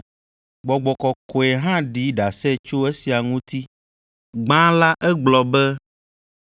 Gbɔgbɔ Kɔkɔe hã ɖi ɖase tso esia ŋuti; gbã la egblɔ be,